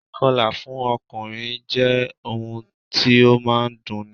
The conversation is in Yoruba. Ì̀kọlà fún ọkùnrin jẹ́ ohun tí ó máa ń dunni